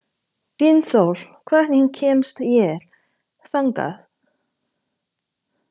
Dynþór, hvernig kemst ég þangað?